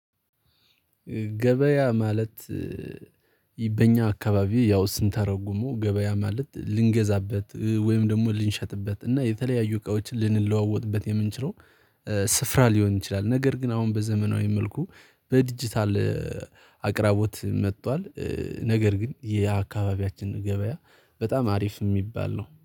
ገበያ ማለት? በኛ አካባቢ ያው ስንተረጉመው ገበያ ማለት ልንገዛበት፤ ወይም ደግሞ ልንሸጥበት እና የተለያዩ እቃዎችን ልንለዋወጥበት የምንችለው ስፍራ ሊሆን ይችላል። ነገር ግን አሁን በዘመናዊ መልኩ በዲጂታል አቅራቦት መጥቷል። ነገር ግን የአካባቢያችን ገበያ በጣም አሪፍ የሚባል ነው።